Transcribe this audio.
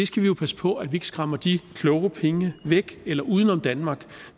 skal jo passe på at vi ikke skræmmer de kloge penge væk eller uden om danmark